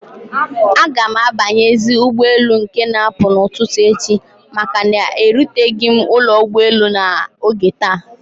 Agam abanyezi ụgbọ elu nke na apụ na ụtụtụ echi maka na eruteghi m ụlọ ụgbọ elu na oge taa